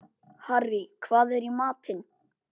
Harrý, hvað er í matinn?